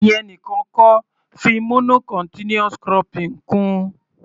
Ìyẹn nìkan kọ́, fi mono continuous cropping kún-un.